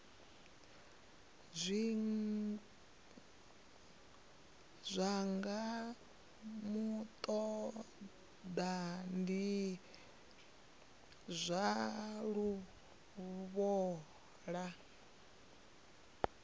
zwigwa muṱaḓa ndi zwa luvhola